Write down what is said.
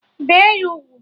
Bee ya ugwu!